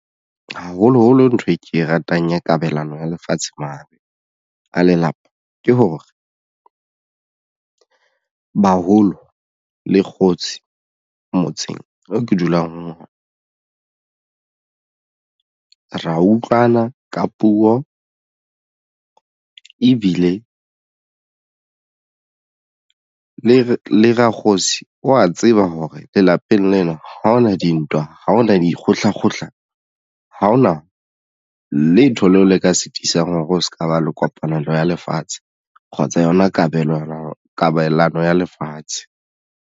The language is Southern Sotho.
Haholoholo ntho e ke e ratang ya kabelano ya lefatshe mahareng a lelapa ke hore baholo le kgotsi motseng oo ke dulang hona ra utlwana ka puo ebile le rakgosi wa tseba hore lelapeng lena ha hona dintwa ha hona dikgohla-kgohla ha hona letho leo le ka sitisang hore o se ka ba le kopanelo ya lefatshe kgotsa yona kabelano ya lefatshe.